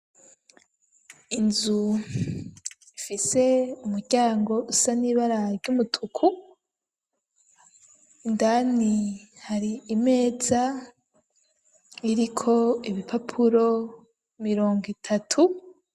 Inzu ifise umuryango usa nibara ry'umutuku ,indani hari imeza iriko ibipapuro mirongo itatu.